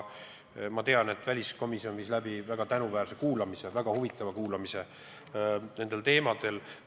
Ma tean, et väliskomisjon viis läbi väga tänuväärse ja huvitava kuulamise nendel teemadel.